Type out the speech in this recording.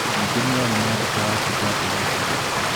Ningĩ nĩ aarĩ na nduka yake gwake mũciĩ.